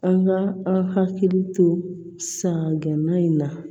An ka an hakili to sa gɛnna in na